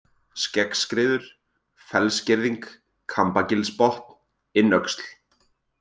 Skeggskriður, Fellsgirðing, Kambagilsbotn, Innöxl